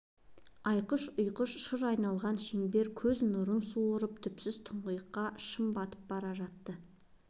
айқыш-ұйқыш шыр айналған шеңберлер көз нұрын суырып түпсіз тұңғиыққа шым батып бара жатты